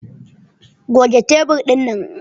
Goge tebur dinnan!